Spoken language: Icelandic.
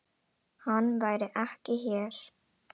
Hann væri ekki hér.